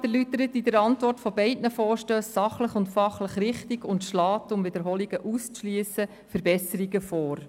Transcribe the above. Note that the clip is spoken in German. Der Regierungsrat erläutert in der Antwort zu beiden Vorstössen sachlich und fachlich richtig und schlägt, um Wiederholungsfälle auszuschliessen, Verbesserungen vor.